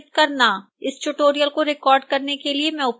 इस tutorial को record करने के लिए मैं उपयोग कर रही हूँ